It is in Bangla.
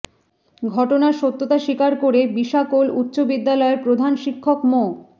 ঘটনার সত্যতা স্বীকার করে বিশাকোল উচ্চ বিদ্যালয়ের প্রধান শিক্ষক মো